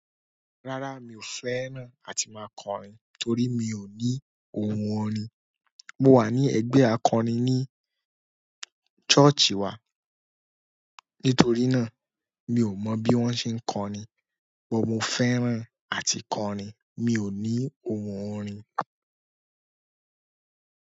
Rárá mi ò fẹ́ràn àti máa kọrin torí mi ò ní ohùn orin. Mo wà ní ẹgbẹ́ akọrin ní ṣọ́ọ̀ṣì wa nítorí náà mi o mọbi won ṣe n kọrin, but mo fẹ́ràn àti kọrin. Mi ò ní ohùn orin.